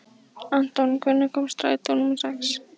Anton, hvenær kemur strætó númer sex?